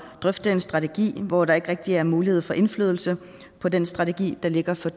drøfte en strategi hvor der ikke rigtig er mulighed få indflydelse på den strategi der ligger for